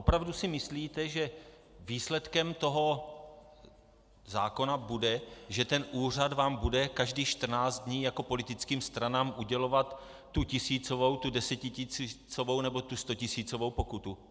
Opravdu si myslíte, že výsledkem tohoto zákona bude, že ten úřad vám bude každých 14 dní jako politickým stranám udělovat tu tisícovou, tu desetitisícovou, nebo tu stotisícovou pokutu?